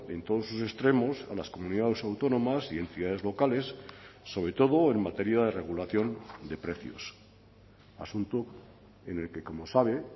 en todos sus extremos a las comunidades autónomas y entidades locales sobre todo en materia de regulación de precios asunto en el que como sabe